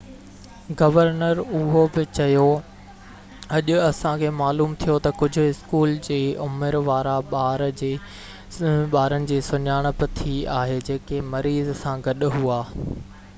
governor اهو بہ چيو اڄ اسان کي معلوم ٿيو تہ ڪجهہ اسڪول جي عمر وارا ٻارن جي سڃاڻپ ٿي آهي جيڪي مريض سان گڏ هئا